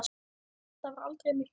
Það var aldrei myrkur.